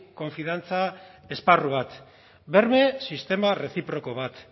konfiantza esparru bat berme sistema reziproko bat